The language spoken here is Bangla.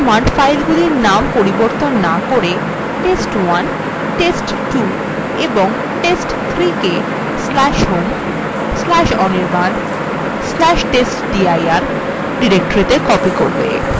এই কমান্ড filesগুলির named পরিবর্তন names করে test1 test2 এবং test3 কে/home/anirban/testdir ডিরেক্টরিত়ে copy করবে